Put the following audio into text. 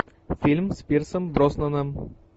фильм с пирсом броснаном